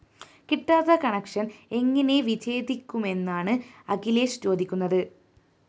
കിട്ടാത്ത കണക്ഷന്‍ എങ്ങിനെ വിച്ഛേദിക്കുമെന്നാണ് അഖിലേഷ് ചോദിക്കുന്നത്